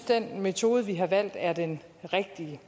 den metode vi har valgt er den rigtige